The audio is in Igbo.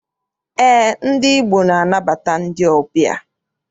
Eé, ndị Igbo na- anabata ndị ọbịa.